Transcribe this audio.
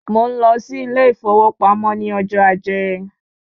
Mò ń lọ sí ilé ìfowópamọ́ ni ojo ajé